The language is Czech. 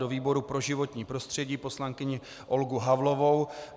Do výboru pro životní prostředí poslankyni Olgu Havlovou.